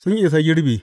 Sun isa girbi.